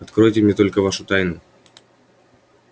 откройте мне только вашу тайну